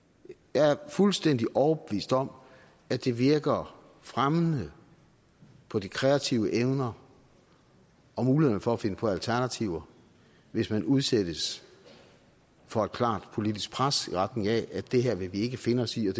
jeg er fuldstændig overbevist om at det virker fremmende på de kreative evner og mulighederne for at finde på alternativer hvis man udsættes for et klart politisk pres i retning af at det her vil vi ikke finde os i og